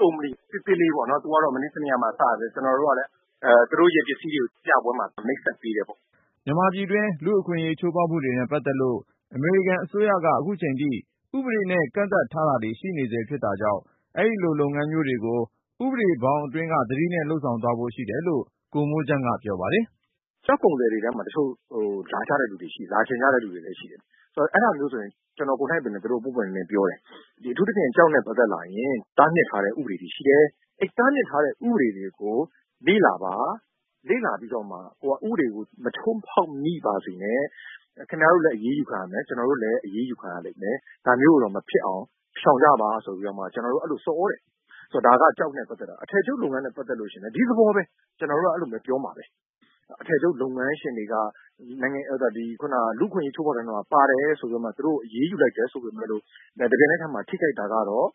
ကုမ္ပဏီ၊ သေးသေးလေးပေါ့နော် သူကတော့ မနေ့တနေ့က စပြီးတော့ ကျနော်တို့ကလည်း သူတို့ရဲ့ပစ္စည်းတွေကို ပြပွဲမှာ မိတ်ဆက်ပေးတယ်ပေါ့။” မြန်မာပြည်တွင်း လူ့အခွင့်အရေး ချိုးဖောက်မှုတွေနဲ့ ပတ်သက်လို့ အမေရိကန်အစိုးရက ခုချိန်ထိ ဥပဒေနဲ့ ကန့်သတ်ထားတာတွေ ရှိနေဆဲဖြစ်တာကြောင့် အဲဒီလို လုပ်ငန်းမျိုးတွေကို ဥပဒေဘောင်အတွင်းက သတိနဲ့ လုပ်ဆောင်သွားဖို့ ရှိတယ်လို့ ကိုမိုးချမ်းက ပြောပါတယ်။ “တချို့ကုန်သည်တွေထဲမှာ လာချင်ကြတဲ့လူတွေလည်း ရှိတယ်။ အဲဒါမျိုးဆိုရင် ကျနော်ကိုယ်နှိုက်ပဲ သူတို့ကို ပွင့်ပွင့်လင်းလင်းပြောတယ်။ အထူးသဖြင့် ကျောက်နဲ့ပတ်သက်လာရင် တားမြစ်ထားတဲ့ ဥပဒေတွေ ရှိတယ်။ တားမြစ်ထားတဲ့ ဥပဒေတွေကို လေ့လာပါ။ လေ့လာပြီးတော့မှ ကိုယ်က ဥပဒေကို မချိုးဖောက်မိပါစေနဲ့။ ခင်ဗျားတို့လည်း အရေးယူခံရမယ်။ ကျနော်တို့လည်း အရေးယူခံရလိမ့်မယ်။ ဒါမျိုးကို မဖြစ်အောင် ရှောင်ကြပါဆိုပြီး ကျနော်တို့ အဲဒီလို ဆော်သြတယ်။ ဒါက ကျောက်နဲ့ ပတ်သက်တာ။ အထည်ချုပ်လုပ်ငန်းနဲ့ ပတ်သက်ရင်လည်း ဒီသဘောပဲ။ ကျနော်တို့က အဲဒီလို ပြောမှာပဲ။ အထည်ချုပ်လုပ်ငန်းရှင်တွေက လူ့အခွင့်အရေး ချိုးဖောက်တဲ့အထဲမှာ ပါတယ်ဆိုပြီးတော့ သူတို့ အရေးယူလိုက်တယ် ဆိုပေမယ့်လို့ တပြိုင်နက်တည်းမှာ ထိခိုက်တာကတော့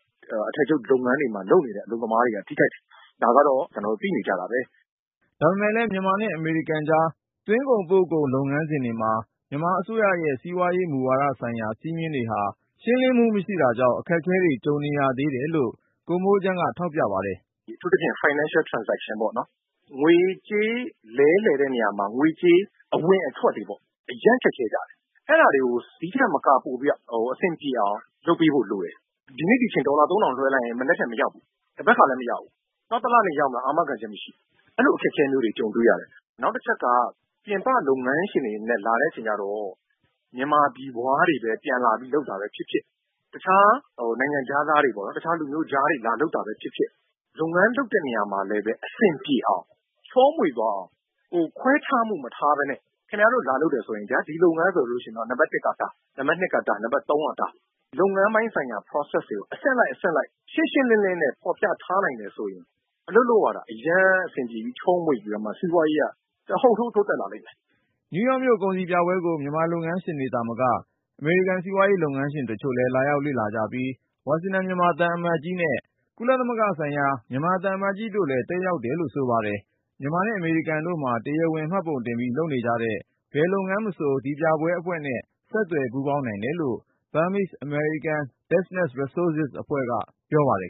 အထည်ချုပ်လုပ်ငန်းတွေမှာ လုပ်နေတဲ့ အလုပ်သမားတွေက ထိခိုက်တယ်။ ဒါကတော့ သိနေကြတာပဲ။” ဒါပေမယ့်လည်း မြန်မာနဲ့ အမေရိကန်ကြား သွင်းကုန်/ပို့ကုန် လုပ်ငန်းစဉ်တွေမှာ မြန်မာအစိုးရရဲ့ စီးပွားရေး မူဝါဒဆိုင်ရာ စည်းမျည်းတွေဟာ ရှင်းလင်းမှု မရှိတာကြောင့် အခက်အခဲတွေ ကြုံနေရသေးတယ်လို့ ကိုမိုးချမ်းက ထောက်ပြပါတယ်။ “အထူးသဖြင့် Financial Transaction ပေါ့။ ငွေကြေး လဲလှယ်တဲ့နေရာမှာ ငွေကြေး အဝင်အထွက်တွေပေါ့။ အရမ်းခက်ခဲကြတယ်။ အဲဒါတွေကို ဒီ့ထက်မက ပိုပြီးတော့ အဆင်ပြေအောင် လုပ်ပေးဖို့လိုတယ်။ ဒီနေ့ ဒီအချိန် ဒေါ်လာသုံးထောင် လွှဲလိုက်ရင် မနက်ဖြန် မရောက်ဘူး။ သန်ဘက်ခါလည်း မရောက်ဘူး။ နောက်တလနေရင် ရောက်မလား အာမခံချက်မရှိဘူး။ အဲလိုအခက်အခဲမျိုးတွေ ကြုံတွေ့ရတယ်။ နောက်တချက်က ပြင်ပလုပ်ငန်းရှင်တွေအနေနဲ့ လာတဲ့အချိန်ကြတော့ မြန်မာပြည်ဖွားတွေပဲ ပြန်လာပြီး လုပ်တာပဲဖြစ်ဖြစ်၊ တခြား နိုင်ငံခြားသားတွေပေါ့နော်၊ တခြားလူမျိုးခြားတွေ လာလုပ်တာပဲဖြစ်ဖြစ် လုပ်ငန်းလုပ်တဲ့နေရာမှာလည်း အဆင်ပြေအောင်၊ ချောမွေ့သွားအောင် ခွဲခြားမှုမထားဘဲနဲ့ ခင်ဗျားတို့ လာလုပ်တယ်ဆိုရင် ဒီလုပ်ငန်းဆိုရင် နံပါတ်တစ်က ဒါ၊ နံပါတ်နှစ်က ဒါ၊ နံပါတ်သုံးက ဒါ၊ လုပ်ငန်းပိုင်းဆိုင်ရာ Process တွေကို အဆင့်လိုက်၊ အဆင့်လိုက် ရှင်းရှင်းလင်းလင်းနဲ့ ဖော်ပြထားနိုင်မယ်ဆိုရင် အလုပ်လုပ်ရတာ အရမ်းအဆင်ပြေပြီး ချောမွေ့ပြီးတော့မှ စီးပွားရေးက တဟုန်ထိုး တိုးတက်လာလိမ့်မယ်။” နယူးယောက်မြို့ ကုန်စည်ပြပွဲကို မြန်မာလုပ်ငန်းရှင်တွေသာမက အမေရိကန် စီးပွားရေးလုပ်ငန်းရှင်တချို့လည်း လာရောက်လေ့လာကြပြီး ဝါရှင်တန် မြန်မာသံအမတ်ကြီး ဦးအောင်လင်းနဲ့ ကုလသမဂ္ဂဆိုင်ရာ မြန်မာအမြဲတမ်းကိုယ်စားလှယ် သံအမတ်ကြီး ဦးဟောက်ဒိုစွမ်းတို့လည်း တက်ရောက်တယ်လို့ ဆိုပါတယ်။ မြန်မာနဲ့ အမေရိကန်တို့မှာ တရားဝင်မှတ်ပုံတင်ပြီး လုပ်နေတဲ့ ဘယ်လုပ်ငန်းမဆို ဒီပြပွဲအဖွဲ့နဲ့ ဆက်သွယ် ပူးပေါင်းနိုင်တယ်လို့ Ethikvest Nature အဖွဲ့က ပြောပါတယ်